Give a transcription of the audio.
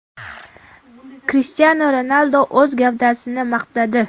Krishtianu Ronaldu o‘z gavdasini maqtadi .